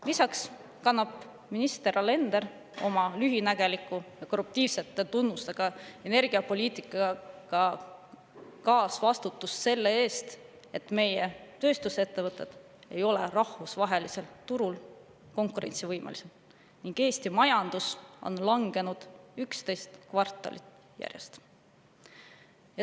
Lisaks kannab minister Alender oma lühinägeliku ja korruptiivsete tunnustega energiapoliitikaga kaasvastutust selle eest, et meie tööstusettevõtted ei ole rahvusvahelisel turul konkurentsivõimelised ning Eesti majandus on langenud 11 kvartalit järjest.